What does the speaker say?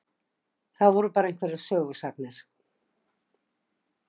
Það voru bara einhverjar sögusagnir.